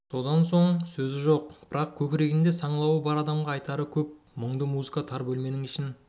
содан соң сөзі жоқ бірақ көкірегінде саңлауы бар адамға айтары көп мұңды музыка тар бөлменің ішін